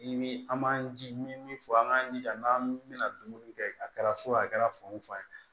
I bi an b'an ji min fɔ an k'an jija n'an bɛna dumuni kɛ a kɛra so a kɛra fan o fan ye